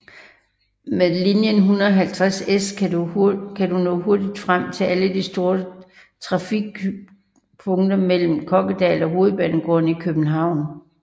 Med linie 150S kan du nå hurtigt frem til alle de store trafikpunkter mellem Kokkedal og Hovedbanegården i København